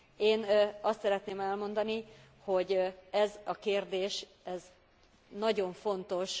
Én azt szeretném elmondani, hogy ez a kérdés nagyon fontos.